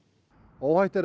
óhætt er